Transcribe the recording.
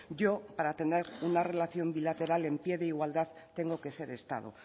yo para tener una relación bilateral en pie de igualdad tengo que ser estado